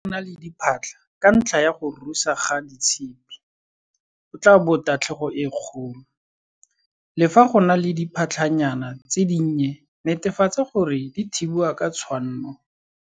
Fa go na le diphatlha ka ntlha ya go rusa ga ditshipi o tlaa bo tatlhego e kgolo. Le fa go na le diphatlhanyana tse dinnye netefatsa gore di thibiwe ka tshwanno.